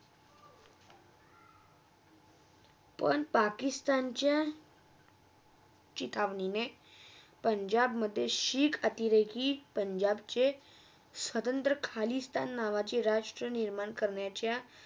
पण पाकिसतांच्या कितावणीने पंजाबमधे शीक अतिरेकी पंजाबचे सतंत्र्या खालीसाण नावाचे राष्ट्रा निर्माण करण्याच्या